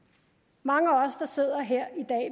mange af os der sidder her